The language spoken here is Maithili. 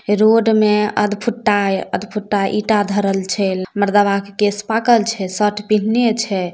रोड मे अध अध फुट्टा ईटा धरल छै मरदावा के केश पाकल छै शर्ट पिहिनले छै।